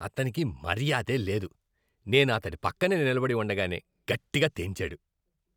అతనికి మర్యాదే లేదు. నేను అతడి పక్కనే నిలబడి ఉండగానే గట్టిగా తేన్చాడు.